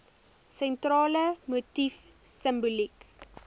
sentrale motief simboliek